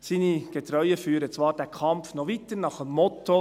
Seine Getreuen führen zwar den Kampf noch weiter, nach dem Motto: